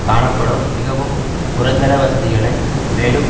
காணப்படும் மிகவும் குறைந்தளவு வசதிகளை மேலும்